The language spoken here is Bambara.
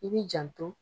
I b'i janto